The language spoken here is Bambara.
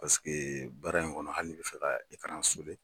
Parce que baara in kɔnɔ hali n'i bɛ fɔ ka i ka